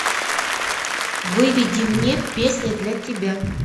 выведи мне песня для тебя